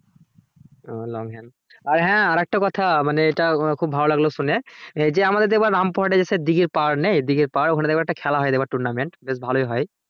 ও long hand আর হ্যা আর একটা কথা মানে এটা খুব ভালো লাগলো সুনে যে আমাদের দেখবে Rampurhat এ দেখবে দীঘির পাহাড় নেই দীঘির পাহাড় ওখানে দেখবে একটা খেলা হয় tournament বেশ ভালোই হয়